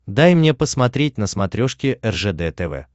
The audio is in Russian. дай мне посмотреть на смотрешке ржд тв